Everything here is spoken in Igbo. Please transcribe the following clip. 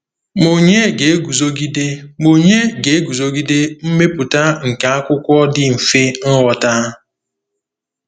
Ma ònye ga-eguzogide Ma ònye ga-eguzogide mmepụta nke akwụkwọ dị mfe nghọta?